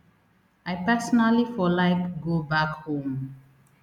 i personally for like go back home